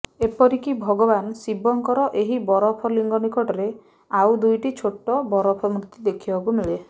ଏପରିକି ଭଗବାନ ଶିବଙ୍କର ଏହି ବରଫ ଲିଙ୍ଗ ନିକଟରେ ଆଉ ଦୁଇଟି ଛୋଟ ବରଫ ମୂର୍ତ୍ତି ଦେଖିବାକୁ ମିଳେ